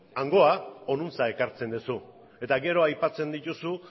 hangoa honantz ekartzen duzu eta gero aipatzen dituzu